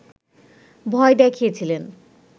ভয় দেখিয়েছিলেন